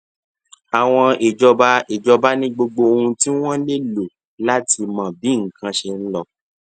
àwọn ìjọba ìjọba ní gbogbo ohun tí wọn lè lò láti mọ bí nǹkan ṣe ń lọ